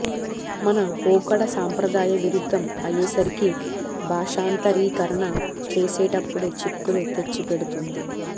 మన పోకడ సంప్రదాయ విరుద్ధం అయేసరికి భాషాంతరీకరణ చేసేటప్పుడు చిక్కులు తెచ్చిపెడుతుంది